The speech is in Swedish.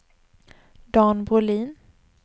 Dan Brolin